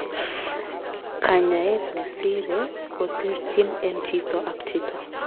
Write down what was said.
Kanyaet nesire koterchin en chito ak chito.